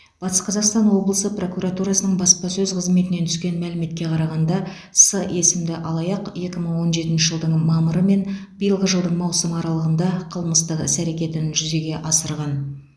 батыс қазақстан облысы прокуратурасының баспасөз қызметінен түскен мәліметке қарағанда с есімді алаяқ екі мың он жетінші жылдың мамыры мен биылғы жылдың маусымы аралығында қылмыстық іс әрекетін жүзеге асырған